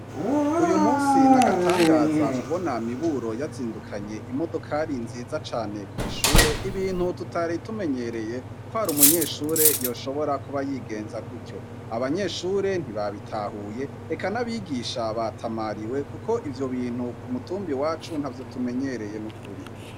Uyu musi n'agatangaza kubona Miburo yazindukanye imodokari nziza cane kw'ishure ibintu tutari tumenyereye ko hari umunyeshure yoshobora kuba yigenze gucyo, abanyeshure ntibabitahuye eka n'abigisha batamariwe kuko ivyo bintu ku mutumba iwacu ntavyo tumenyereye n'ukuri.